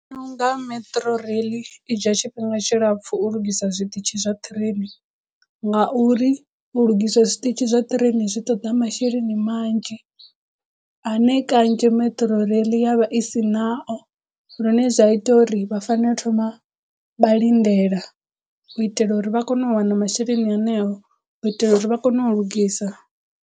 Ndi vhona u nga Metrorail i dzhia tshifhinga tshilapfu u lugisa zwiṱitshi zwa train ngauri u lugisa zwiṱitshi zwa train zwi ṱoḓa masheleni manzhi ane kanzhi Metrorail ya vha i si nao lune zwa ita uri vha fanela u thoma vha lindela u itela uri vha kono u wana masheleni haneo, u itela uri vha kono u lugisa.